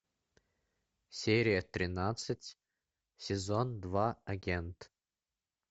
серия тринадцать сезон два агент